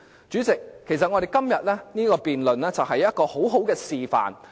主席，我們今天的辯論，其實是一個良好示範。